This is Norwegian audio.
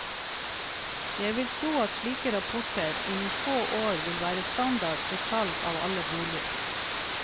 Jeg vil tro at slike rapporter innen få år vil være standard for salg av alle boliger.